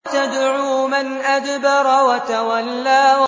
تَدْعُو مَنْ أَدْبَرَ وَتَوَلَّىٰ